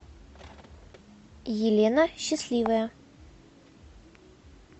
елена счастливая